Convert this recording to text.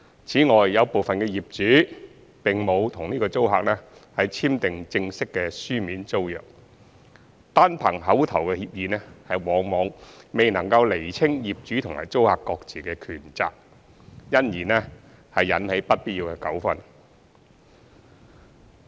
此外，有部分業主並沒有與租客簽定正式的書面租約，單憑口頭協議往往未能釐清業主和租客各自的權責，因而引起不必要的糾紛。